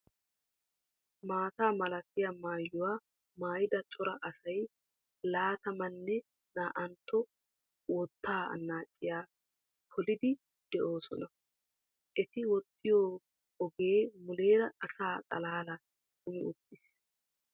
Maata malatiya maayuwa maayida cora asay laatamanne naa"antta wottaa annaaciya poliiddi de'oosona. Eti woxxiyo ogee muleera asa xaalaalan kumi uttiis.